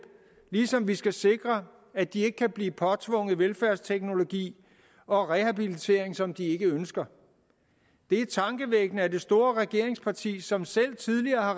ligesom vi skal sikre at de ikke kan blive påtvunget velfærdsteknologi og rehabilitering som de ikke ønsker det er tankevækkende at det store regeringsparti som selv tidligere har